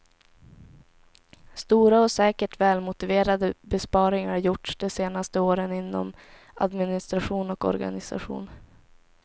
Stora och säkert välmotiverade besparingar har gjorts de senaste åren inom administration och organisation.